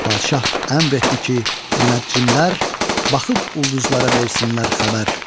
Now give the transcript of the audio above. Padşah əmr etdi ki, münəccimlər baxıb ulduzlara versinlər xəbər.